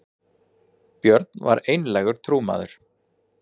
björn var einlægur trúmaður